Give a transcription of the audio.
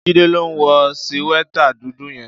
Jide ló n wò síwètá dúdù yèn